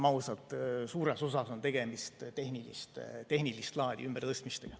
Suures osas on tegemist, olgem ausad, tehnilist laadi ümbertõstmistega.